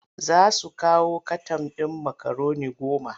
Za su kawo katan ɗin makaroni goma.